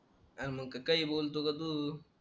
अरे मग काय बोलतोय ग तू